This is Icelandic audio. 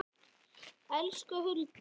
Elsku Hulda.